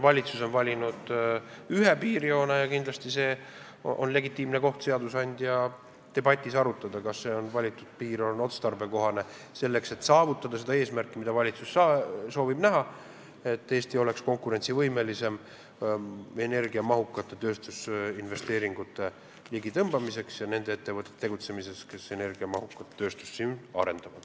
Valitsus on valinud ühe piirjoone ja kindlasti on legitiimne koht just seadusandja debatis arutada, kas see valitud piir on otstarbekohane, et saavutada eesmärk, mida valitsus soovib: et Eesti oleks konkurentsivõimelisem riik energiamahukate tööstusinvesteeringute ligitõmbamisel ja siin saaksid tegutseda ettevõtted, kes energiamahukat tööstust arendavad.